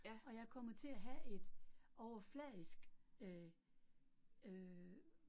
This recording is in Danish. Og jeg kommer til at have et overfladisk øh øh